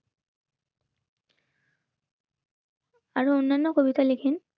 আরো অন্যান্য কবিতা লিখিন